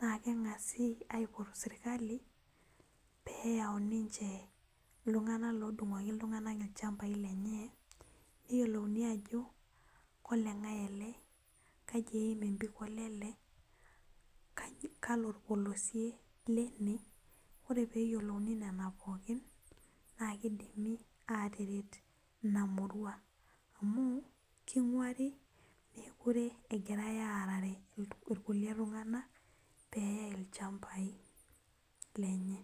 na keng'asi aipot serkali peyau ninche ltung'anak lodung'oki ltung'anak lchambai lenye peyiolouni ajo kolengae ele, kau eim empikot ele kalo orpolosie leine ore peyiolouni nona pookin na kidimi ataret inamurua amu king'uar imekute egirai aarere rkulie tung'anak neyae lchambai lenye.